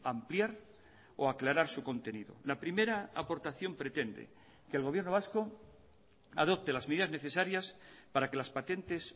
ampliar o aclarar su contenido la primera aportación pretende que el gobierno vasco adopte las medidas necesarias para que las patentes